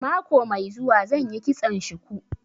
Mako mai zuwa zan yi kitson shuku